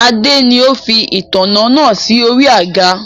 Adé ni ó fi ìtanná naa si ori àga